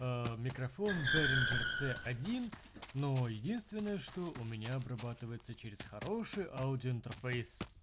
микрофон бенеджер ц один но единственное что у меня обрабатывается через хороший аудиоинтерфейс